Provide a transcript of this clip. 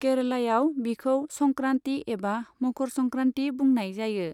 केरलायाव, बिखौ संक्रान्ति एबा मकर संक्रान्ति बुंनाय जायो।